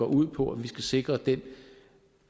ud på at vi skal sikre den